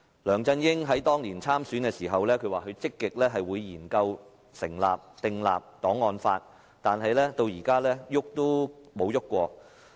梁振英當年競選時表示會積極研究訂立檔案法，但至今仍沒有進行絲毫的立法工作。